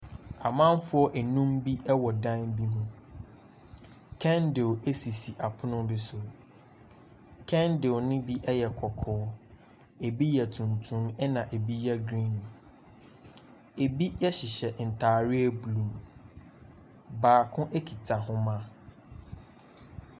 Amanfoɔ nnum bi wɔ dan bi ho. Candle sisi apono bi so. Candle no bi yɛ kɔkɔɔ, ebi yɛ tuntum, ɛnna ebi yɛ green. Ebi hyehyɛ ntareɛ blue. Baako kita ahoma.